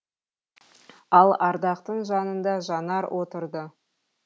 ал ардақтың жанында жанар отырды